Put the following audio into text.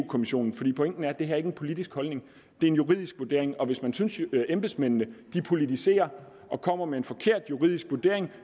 kommissionen for pointen er at det her ikke er en politisk holdning det er en juridisk vurdering og hvis man synes at embedsmændene politiserer og kommer med en forkert juridisk vurdering